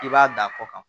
I b'a da kɔ kan